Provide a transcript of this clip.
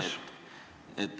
Küsimus!